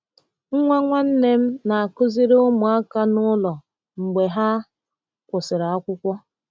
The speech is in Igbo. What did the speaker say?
Nwa nwanne m na-akụziri ụmụaka n’ụlọ mgbe ha kwụsịrị akwụkwọ.